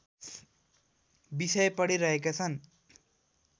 विषय पढिरहेका छन्